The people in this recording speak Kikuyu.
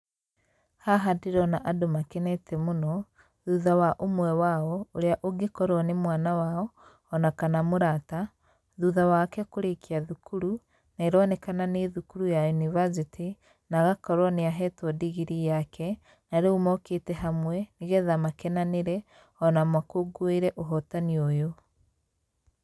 Haha ndĩrona andũ makenete mũno, thutha wa ũmwe wao ũrĩa ũngĩkorwo nĩ mwana wao ona kana mũrata, thutha wake kũrĩkia thukuru na ĩronekana nĩ thukuru ya yunibacĩtĩ na agakorwo nĩ ahetwo ndigirii yake narĩu mokĩte hamwe nĩgetha makenanĩre, ona makũngũĩre ũhotani ũyũ.